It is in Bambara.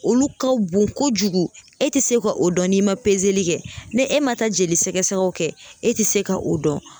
Olu ka bon kojugu e tɛ se ka o dɔn n'i ma kɛ ni e ma taa jolisɛgɛsɛgɛ o kɛ e tɛ se ka o dɔn